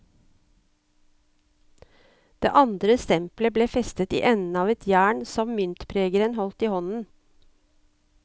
Det andre stempelet ble festet i enden på et jern som myntpregeren holdt i hånden.